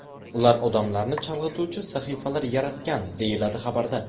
Ular odamlarni chalg‘ituvchi sahifalar yaratgan”, deyiladi xabarda.